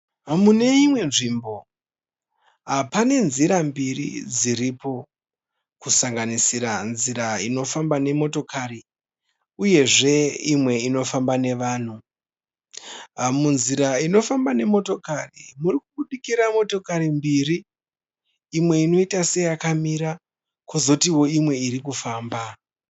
Mune imwe nzvimbo pane nzira mbiri dziripo. Kusanganisira nzira inofamba nemotokari uyezve imwe inofamba nevanhu. Munzira inofamba nemotokari muri kubudikira motakari mbiri imwe inoita seyakamira kozoti imwe iri kufamba.